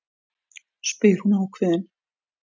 spyr hún ákveðin.